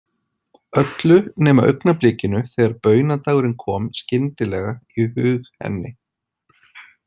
Öllu nema augnablikinu þegar baunadagurinn kom skyndilega í hug henni.